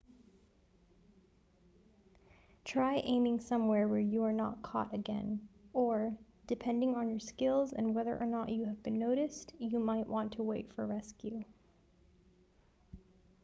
try aiming somewhere where you are not caught again or depending on your skills and on whether you have been noticed you might want to wait for rescue